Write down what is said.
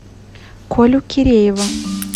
колю киреева